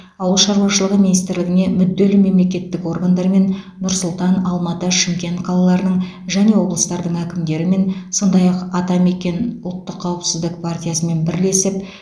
ауыл шаруашылығы министрлігіне мүдделі мемлекеттік органдармен нұр сұлтан алматы шымкент қалаларының және облыстардың әкімдерімен сондай ақ атамекен ұлттық қауіпсіздік партиясымен бірлесіп